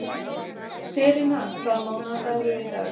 Selina, hvaða mánaðardagur er í dag?